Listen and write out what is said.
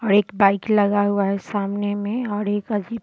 और एक बाइक लगा हुआ है सामने में और अजीब --